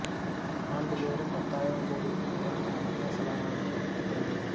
ஆண்டு தோறும் பத்து ஆயிரம் கோடிக்கும் மேலான அந்நிய செலவாணியை ஈட்டித் தருகிறது